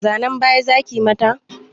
Zanan baya zakiyi mata?